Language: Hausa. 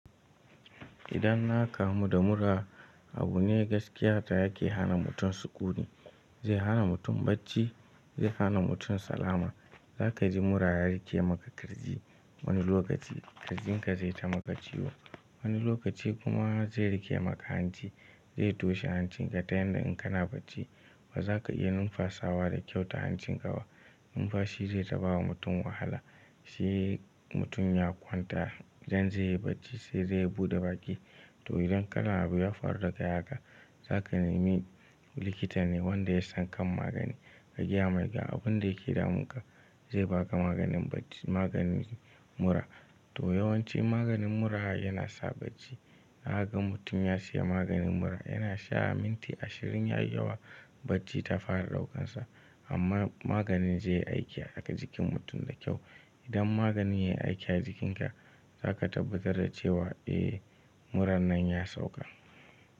Idan na kamu da mura abu ne gaskiya da yake hana mutum sukuni, zai hana mutum bacci, zai hana mutum salama. Za kaji mura ya riƙe maka ƙirji. Wani lokaci ƙirjin ka zai ta maka ciwo. Wani lokaci kuma zai riƙe maka hanci. Zai toshe hancin ka ta yanda in kana bacci ba za ka iya numfasawa da kyau ta hancin ka ba. Numfashi zai ta bawa mutum wahala, shi mutum ya kwanta idan zai yi bacci sai dai ya buɗe baki. To idan kalan abu ya faru dakai haka, za ka nemi likita ne wanda ya san kan magani. Ka gaya mai ga abun da yake damun ka zai baka maganin bacci maganin mura, to yawanci maganin mura yana sa bacci. Zakaga mutum ya siya maganin mura yana sha minti ashirin ya yi yawa bacci ta fara ɗaukansa. Amma maganin zai yi aiki a haka jikin mutum da kyau. Idan maganin yayi aiki a jikin ka, za ka tabbatar da cewa eh murar nan ya sauka.